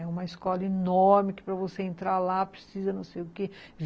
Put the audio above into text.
É uma escola enorme, que para você entrar lá precisa não sei o quê.